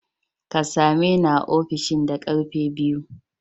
Ka same ni a ofishin da ƙarfe biyu!